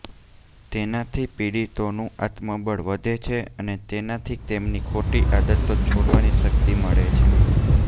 તેનાથી પીડિતોનું આત્મબળ વધે છે અને તેનાથી તેમની ખોટી આદતો છોડવાની શક્તિ મળે છે